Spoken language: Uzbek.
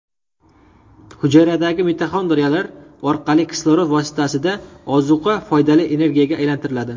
Hujayradagi mitoxondriyalar orqali kislorod vositasida ozuqa foydali energiyaga aylantiriladi.